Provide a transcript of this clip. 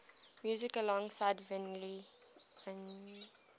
music alongside vinyl